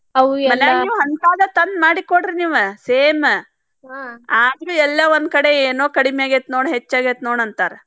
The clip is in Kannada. ಮನ್ಯಾಗು ಹಂತಾದ ತಂದ್ ಮಾಡಿಕೊಡ್ರಿ ನೀವ್ same ಆದ್ರೂ ಎಲ್ಲೋ ಒಂದ್ಕಡೆ ಏನೋ ಕಡಿಮಿ ಆಗೇತಿ ನೋಡ್ ಹೆಚ್ಚ್ ಆಗೇತಿ ನೋಡ್ ಅಂತಾರ.